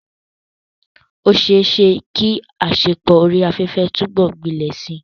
Ó ṣeé ṣe kí àṣepọ̀ orí afẹ́fẹ́ túbọ̀ gbilẹ̀ síi.